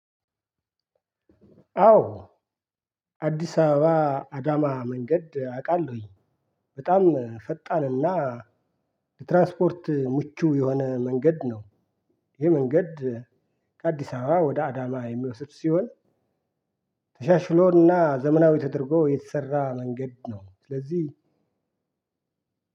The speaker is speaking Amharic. አዎ አዲስ አበባ አዳማ መንገድ አውቃለሁኝ በጣም ፈጣን እና ትራንስፖርት ምቹ የሆነ መንገድ ነው ይህ መንገድ ከአዲስ አበባ ወደ አዳማ የሚወስድ ሲሆን ተሻሽሎ እና ዘመናዊ ተደርጎ የተሰራ መንገድ ነው። ስለዚህ